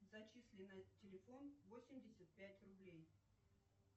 зачисли на телефон восемьдесят пять рублей